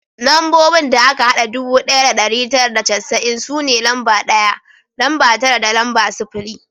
Lambobin da aka hada ɗubu ɗaya da ɗari tara da casa'in su ne lamba ɗaya, lamba tara da lamba sifili